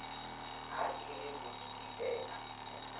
ha e le ho teela